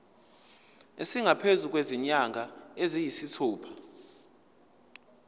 esingaphezu kwezinyanga eziyisithupha